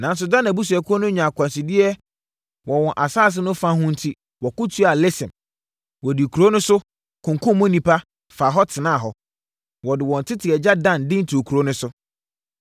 Nanso, Dan abusuakuo no nyaa akwansideɛ wɔ wɔn asase no fa ho enti wɔko tiaa Lesem. Wɔdii kuro no so, kunkumm mu nnipa, faa hɔ, tenaa hɔ. Wɔde wɔn tete agya Dan din too kuro no.